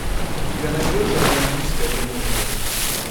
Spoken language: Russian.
у тебя найдется романтическая комедия